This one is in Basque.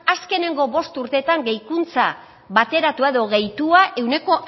azkenengo bost urteetan gehikuntza bateratua edo gehitua ehuneko